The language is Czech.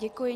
Děkuji.